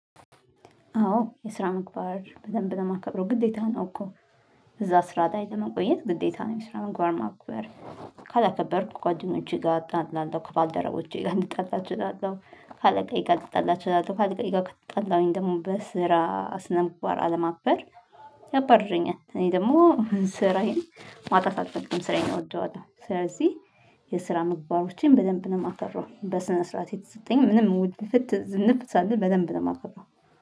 አዎ የስራ ምግባር በደንብ ነው የማከብረው ግዴታ ነው እኮ እዛ ስራ ላይ ለመቆየት ግዴታ ነው። የስራ ምግባር ማክብር ካላከበርኩ ጓደኞቼ ጋር እጣላለሁ ከባልደረቦቼ ጋር ልጣላ እችላለሁ ካለቃዬ ጋር ልጣላ እችላለሁ ካለቃየ ጋር ከተጣለሁኝ ደግሞ በስራ ስነምግባር አለማክበር። ያባርረኛል። እኔ ደግሞ ስራዬን ማጣት አልፈልግም ስራዬን እወደዋለሁ። ስለዚህ የስራ ምግባሮቼን በደንብ ነው የማከብረው። በስነ ስርዓት የተሰጠኝ ምንም ውድፍት ዝንፍት ሳልል በደንብ ነው የማከብረው